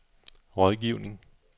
rådgivning